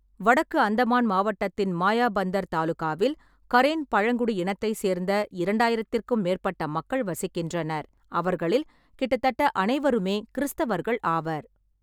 வடக்கு அந்தமான் மாவட்டத்தின் மாயாபந்தர் தாலுகாவில் கரேன் பழங்குடி இனத்தைச் சேர்ந்த இரண்டாயிரத்திற்கும் மேற்பட்ட மக்கள் வசிக்கின்றனர், அவர்களில் கிட்டத்தட்ட அனைவருமே கிறிஸ்தவர்கள் ஆவர்.